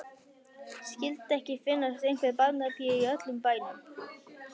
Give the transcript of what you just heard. Skyldi ekki finnast einhver barnapía í öllum bænum.